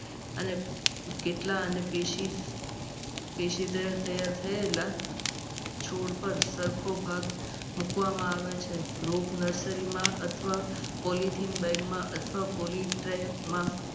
કેટલા અને પેશિદર તૈયાર થયેલ છોડ પર સરખો ભાગ મૂકવામાં આવે છે. group nursery માં અથવા polythene bag માં અથવા polythene tree માં